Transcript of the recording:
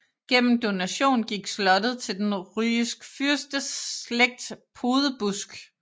Gennem donation gik slottet til den rygisk fyrsteslægt Podebusk